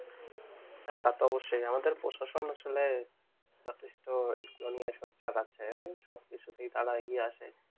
হ্যাঁ তা তো অবশ্যই আমাদের প্রশাসন আসলে যথেষ্ট সোচ্চার রাখছে সব কিছুতেই তারা এগিয়ে আছে